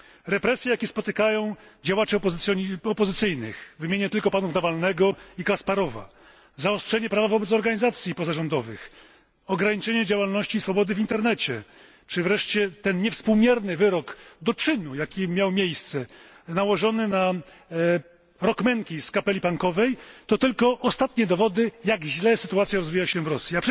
Represje, jakie spotykają działaczy opozycyjnych, wymienię tylko panów Nawalnego i Kasparowa, zaostrzenie prawa wobec organizacji pozarządowych, ograniczenie działalności i swobody w internecie czy wreszcie ten niewspółmierny wyrok do czynu, jaki miał miejsce, nałożony na rockmanki z kapeli punkowej, to tylko ostatnie dowody, jak źle rozwija się sytuacja w Rosji.